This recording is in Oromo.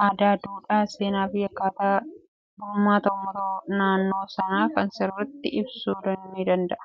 aadaa duudhaa seenaa fi akkata bulmaata uummata naannoo sanaa sirritti ibsuu ni danda'a